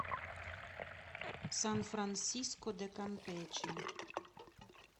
сан франсиско де кампече